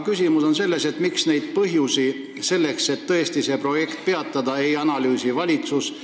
Küsimus on selles, miks projekti peatamise põhjendusi ei analüüsi valitsus.